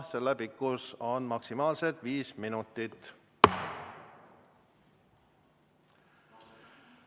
Sõnavõtu pikkus on maksimaalselt viis minutit.